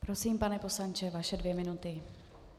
Prosím, pane poslanče, vaše dvě minuty.